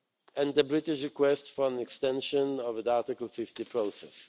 UK and the British request for an extension of the Article 50 process.